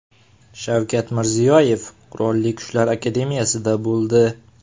Shavkat Mirziyoyev Qurolli Kuchlar akademiyasida bo‘ldi.